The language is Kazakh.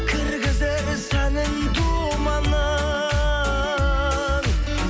кіргізер сәнін думанның